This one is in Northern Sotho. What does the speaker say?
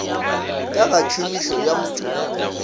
ka ga tshomišo ya motšoko